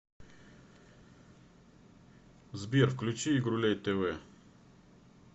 сбер включи игрулей тэ вэ